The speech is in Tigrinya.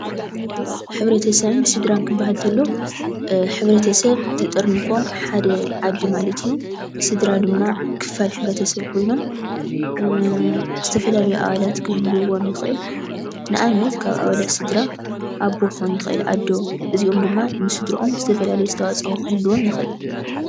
ሕብረተሰብን ስድራን ክበሃል እንተሎ ሕብረተሰብ ተጠርኒፎም ሓደ ዓዲ ማለት እዩ። ስድራ ድማ ክፋል ሕብረተሰብ ኮይኖም ፤ ዝተፈላለዩ ኣባላት ክህልውዎም ይኽእል። ንኣብነት ካብ አባላት ስድራ ኣቦ ክኾን ይኽእል ኣዶን እዚኦም ድማ ንስድረኦም ዝተፈላለየ ኣስተዋፅኦ ክህልዎም ይኽእል።